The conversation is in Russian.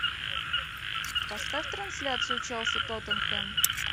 поставь трансляцию челси тоттенхэм